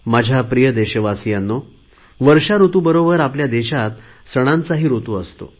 माझ्या प्रिय देशवासियांनो वर्षाऋतुबरोबर आपल्या देशात सणांचाही ऋतू असतो